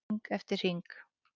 Hring eftir hring.